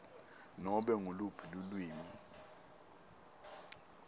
nobe nguluphi lulwimi